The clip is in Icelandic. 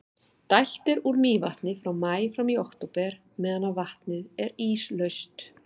dælt er úr mývatni frá maí fram í október meðan vatnið er íslaust